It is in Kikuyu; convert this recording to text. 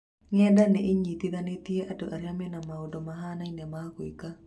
Ng’enda nĩ ĩnyitithanĩtie andũ arĩa mena maũndũ mahanaine ma gwĩkenia.